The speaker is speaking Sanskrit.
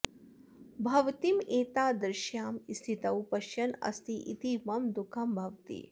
भवतीम् एतादृश्यां स्थितौ पश्यन् अस्ति इति मम दुःखं भवति